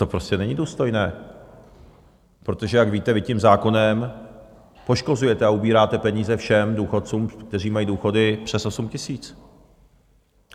To prostě není důstojné, protože jak víte, vy tím zákonem poškozujete a ubíráte peníze všem důchodcům, kteří mají důchody přes 8 tisíc.